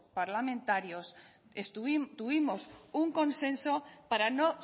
parlamentarios tuvimos un consenso para no